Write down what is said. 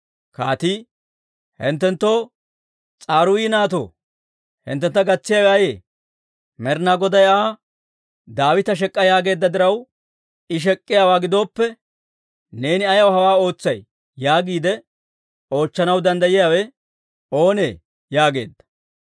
Kaatii, «Hinttenttoo, S'aruuyi naatoo, hinttentta gatsiyaawe ayee? Med'inaa Goday Aa, Daawita shek'k'a yaageedda diraw I shek'k'iyaawaa gidooppe, ‹Neeni ayaw hawaa ootsay?› yaagiide oochchanaw danddayiyaawe oonee?» yaageedda.